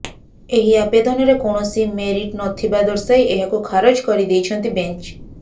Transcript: ଏହି ଆବେଦନରେ କୌଣସି ମେରିଟ୍ ନଥିବା ଦର୍ଶାଇ ଏହାକୁ ଖାରଜ କରିଦେଇଛନ୍ତି ବେଂଚ